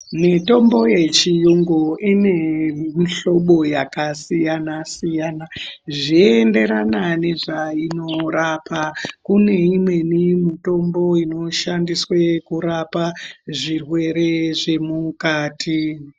Mitombo yechiyungu ine mihlobo yakasiyana siyana zveienderana nezvainorapa. Kune imweni mitombo inoshandiswe kurapa zvirwere zvemukati.